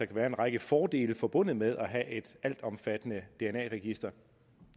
kan være en række fordele forbundet med at have et altomfattende dna register